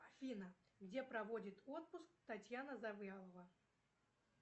афина где проводит отпуск татьяна завьялова